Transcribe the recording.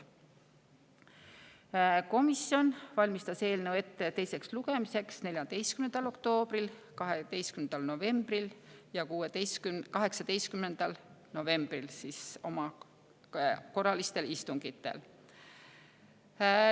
Komisjon valmistas eelnõu ette teiseks lugemiseks 14. oktoobril, 12. novembril ja 18. novembril oma korralistel istungitel.